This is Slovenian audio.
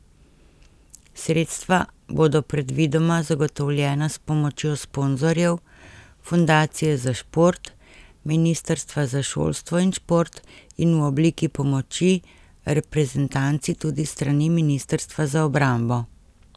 Sredstva bodo predvidoma zagotovljena s pomočjo sponzorjev, Fundacije za šport, Ministrstva za šolstvo in šport in v obliki pomoči reprezentanci tudi s strani Ministrstva za obrambo.